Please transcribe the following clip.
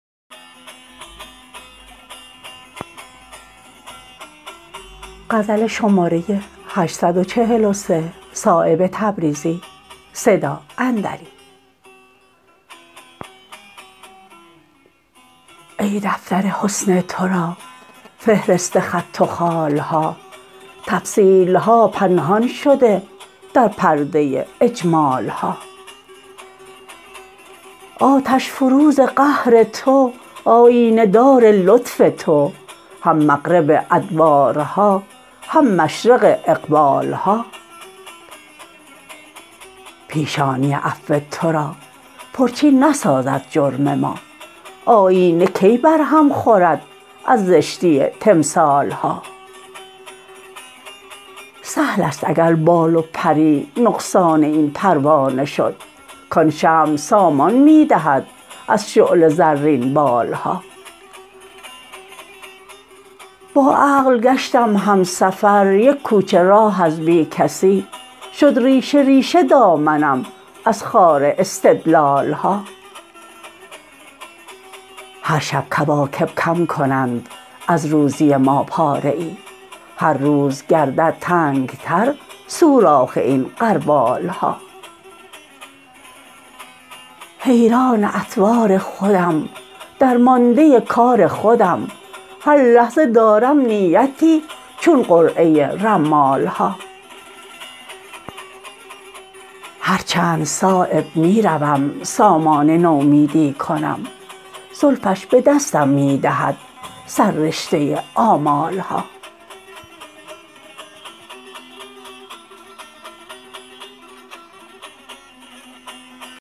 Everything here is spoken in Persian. ای دفتر حسن ترا فهرست خط و خال ها تفصیل ها پنهان شده در پرده اجمال ها آتش فروز قهر تو آیینه دار لطف تو هم مغرب ادبارها هم مشرق اقبال ها پیشانی عفو ترا پرچین نسازد جرم ما آیینه کی بر هم خورد از زشتی تمثال ها سهل است اگر بال و پری نقصان این پروانه شد کان شمع سامان می دهد از شعله زرین بال ها با عقل گشتم هم سفر یک کوچه راه از بی کسی شد ریشه ریشه دامنم از خار استدلال ها هرشب کواکب کم کنند از روزی ما پاره ای هرروز گردد تنگ تر سوراخ این غربال ها حیران اطوار خودم درمانده کار خودم هر لحظه دارم نیتی چون قرعه رمال ها هرچند صایب می روم سامان نومیدی کنم زلفش به دستم می دهد سررشته آمال ها